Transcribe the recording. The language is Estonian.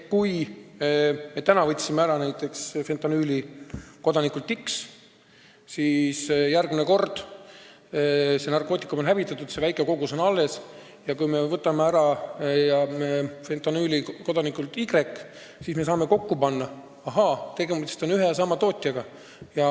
Kui me täna võtsime näiteks fentanüüli ära kodanikult X, see narkootikum hävitatakse, aga väike kogus jääb alles, ja kui me võtame järgmisel korral fentanüüli ära kodanikult Y, siis me saame need asjad kokku panna, et ahaa, tegemist on ühe ja sama tootjaga.